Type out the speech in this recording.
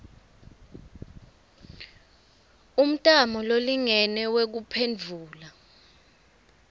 umtamo lolingene wekuphendvula